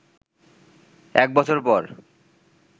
এক বছর পর